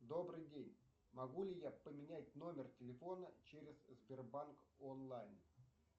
добрый день могу ли я поменять номер телефона через сбербанк онлайн